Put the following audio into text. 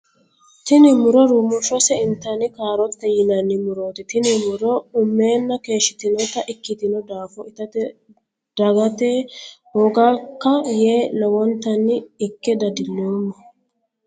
Tinni muro rumushose intanni kaarootete yinanni murooti tinni muro umeenna keeshitinota ikitino daafo itate dagata hoogaka yee lowontanni Ike dadiloomo.